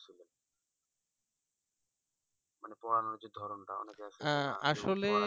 মানে পড়ানো যে ধরনটা